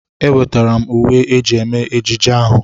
Ewetara m uwe eji eme ejije ahụ.